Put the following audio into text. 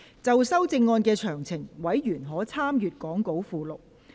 就修正案詳情，委員可參閱講稿附錄。